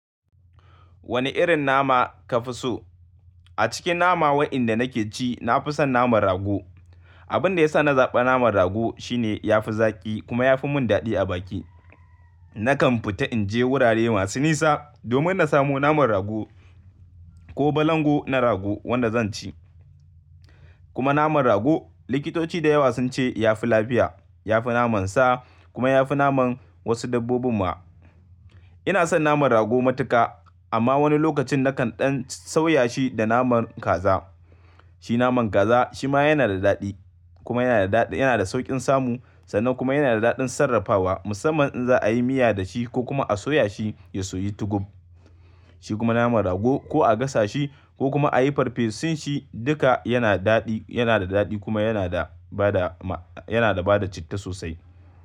Wane irin nama ka fi so? A cikin nama waɗanda nake ci, na fi son naman rago. Abin da ya sa na zaɓi naman rago shine ya fi zaƙi kuma ya fi mun daɗi a baki. Nakan fita in je wurare masu nisa domin na samo naman rago ko balangu na rago wanda zan ci. Kuma naman rago, likitoci da yawa sun ce ya fi lafiya, ya fi naman sa kuma ya fi naman wasu dabbobin mu'a. Ina son naman rago matuƙa amma wani lokacin nakan ɗan sauya shi da naman kaza. Shi naman kaza shi ma yana da daɗi kuma yana da daɗi, yana da sauƙin samu sannan kuma yana da daɗin sarrafawa musamman in za'a yi miya da shi ko kuma a soya shi ya soyu tukum. Shi kuma naman rago ko a gasa shi ko kuma a yi farfesun shi duka yana daɗi, yana da daɗi kuma yana da bada ma, yana da bada citta sosai.